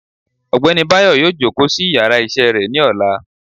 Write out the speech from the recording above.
ọgbẹni bayo yóò jòkó sí íyarà iṣẹ re ni òlá